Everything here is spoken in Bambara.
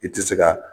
I tɛ se ka